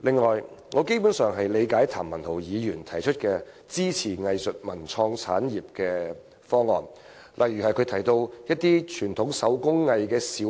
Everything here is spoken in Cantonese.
此外，我基本上理解譚文豪議員提出關乎支持藝術文創產業的方案，例如他提到一些小批量生產的傳統手工藝，其